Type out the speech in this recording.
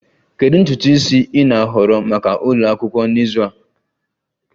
Kedu ntutu isi ị na-ahọrọ maka ụlọ akwụkwọ n'izu a?